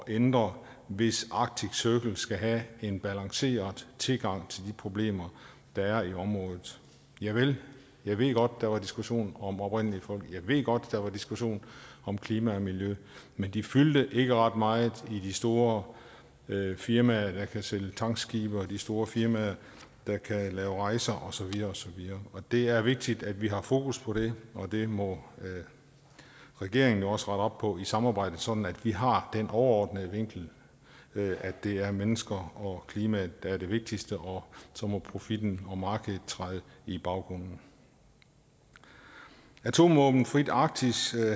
ændre hvis arctic circle skal have en balanceret tilgang til de problemer der er i området javel jeg ved godt at der var diskussion om oprindelige folk og jeg ved godt at der var diskussion om klima og miljø men de fyldte ikke ret meget i de store firmaer der kan sælge tankskibe og de store firmaer der kan lave rejser og så videre det er vigtigt at vi har fokus på det og det må regeringen jo også rette op på i samarbejdet sådan at vi har den overordnede vinkel at det er mennesker og klimaet der er det vigtigste og så må profitten og markedet træde i baggrunden atomvåbenfrit arktis